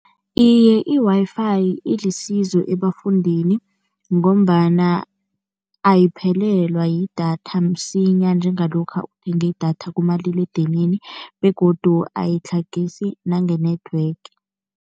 Iye, i-Wi-Fi ilisizo ebafundini ngombana ayiphelelwa yidatha msinya njengalokha uthenge idatha kumaliledinini begodu ayitlhagisi nange-network.